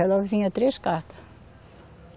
Ela vinha três cartas.